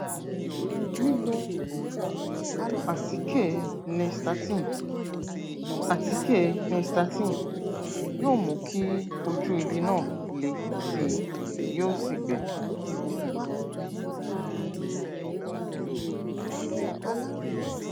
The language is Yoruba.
lílò àtíkè nystatin àtíkè nystatin yóò mú kí ojú ibi náà le sí i yóò sì gbẹ